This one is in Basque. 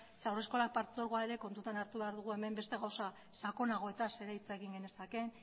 zeren haurreskola partzuergoa ere kontutan hartu behar dugu hemen beste gauza sakonagoetaz ere hitz egin genezake